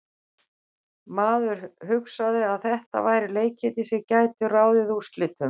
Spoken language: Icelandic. Maður hugsaði að þetta væru leikirnir sem gætu ráðið úrslitum.